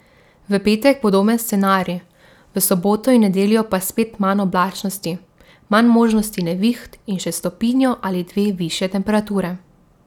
V petek podoben scenarij, v soboto in nedeljo pa spet manj oblačnosti, manj možnosti neviht in še stopinjo ali dve višje temperature.